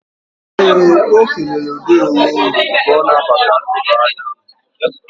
Ee, ọ kelere "ndeewo nu o ka ọ na-abata n'ụlọ ahịa ahụ."